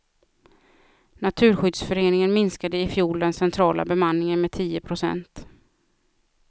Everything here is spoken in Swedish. Naturskyddsföreningen minskade i fjol den centrala bemanningen med tio procent.